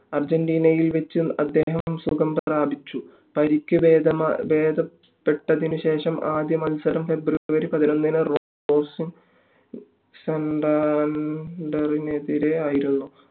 അർജന്റീനയിൽ വെച്ച് അദ്ദേഹം സുഖം പ്രാപിച്ചു പരിക്ക് ഭേദപെട്ടതിന് ശേഷമുള്ള ആദ്യ മത്സരം february പതിനൊന്നിന് റോസിങ് സ്റ്റാൻഡേർഡ് നെതിരെ ആയിരുന്നു